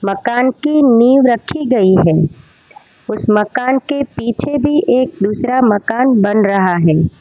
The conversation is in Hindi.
मकान की नींव रखी गई है उस मकान के पीछे भी एक दूसरा मकान बन रहा है।